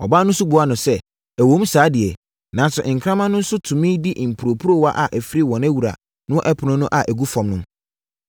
Ɔbaa no nso buaa sɛ, “Ɛwom saa deɛ, nanso nkraman no nso tumi di mporoporowa a ɛfiri wɔn wura no ɛpono so gu fam no.”